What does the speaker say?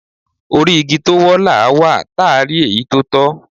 Orí igi tó wọ́, làá wà, táà rí èyí tó tọ́.